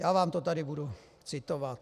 Já vám to tady budu citovat.